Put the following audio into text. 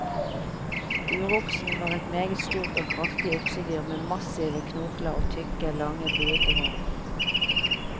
Uroksen var et meget stort og kraftig oksedyr med massive knokler og tykke, lange, buete horn.